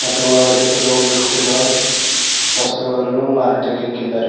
ಮತ್ತು ಒಳಗಡೆ ಕೆಲವು ಗಿಫ್ಟಿ ನ ವಸ್ತುಗಳನ್ನು ಮಾರಾಟಕ್ಕಿಟ್ಟಿದ್ದಾರೆ.